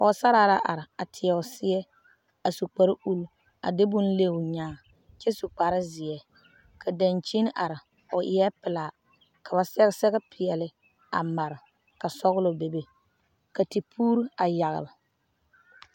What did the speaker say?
Pɔge sarra la are a teɛ o seɛ, a su kpare ull a de bon leŋ o nyaaŋ kyɛ su kpare zeɛ ka dankyine are o eɛ pelaa, ka ba sɛge sɛre pɛɛle a mare ka sɔglɔ be ka tipuuri a yagele